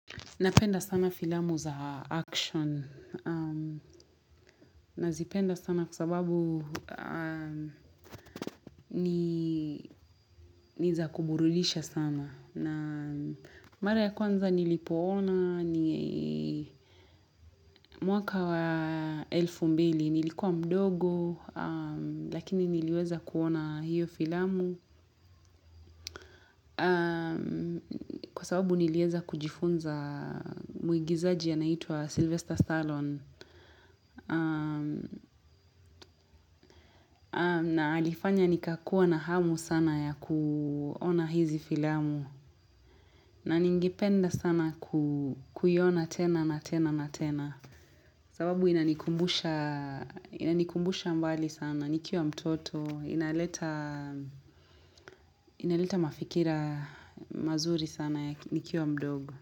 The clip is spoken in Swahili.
Napenda sana filamu za action nazipenda sana kwa sababu ni za kuburudisha sana na mara ya kwanza nilipoona ni mwaka wa elfu mbili nilikuwa mdogo lakini niliweza kuona hiyo filamu Kwa sababu nilieza kujifunza mwigizaji anayeitwa Sylvester Stallone na alifanya nikakuwa na hamu sana ya kuona hizi filamu na ningependa sana kuiona tena na tena na tena sababu inanikumbusha mbali sana nikiwa mtoto inaleta inaleta mafikira mazuri sana ya nikiwa mdogo.